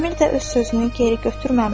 Əmir də öz sözünü geri götürməmişdir.